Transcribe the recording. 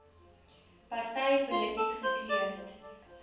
party polities gekleurd